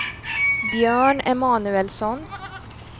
Björn Emanuelsson